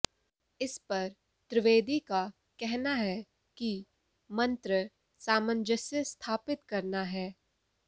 इस पर त्रिवेदी का कहना है कि मंत्र सामंजस्य स्थापित करना है